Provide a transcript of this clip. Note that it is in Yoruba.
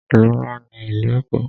Ìlú ńlá ní ìlú Èkó.